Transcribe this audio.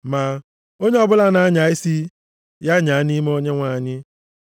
Ma, “Onye ọbụla na-anya isi, ya nyaa nʼime Onyenwe anyị.” + 10:17 \+xt Jer 9:24\+xt*